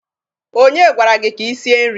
Onye gwara gị ka i sie nri?